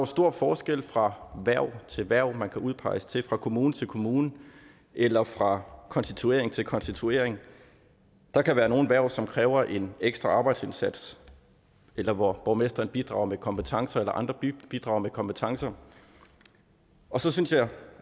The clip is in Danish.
stor forskel fra hverv til hverv man kan udpeges til fra kommune til kommune eller fra konstituering til konstituering der kan være nogle hverv som kræver en ekstra arbejdsindsats eller hvor borgmesteren bidrager med kompetencer eller andre bidrager med kompetencer og så synes jeg